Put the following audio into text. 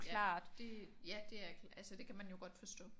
Ja det er. Altså det kan man jo godt forstå